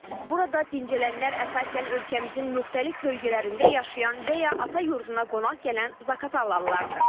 Burada dincələnlər əsasən ölkəmizin müxtəlif bölgələrində yaşayan və ya ata yurduna qonaq gələn Zaqatalalılardır.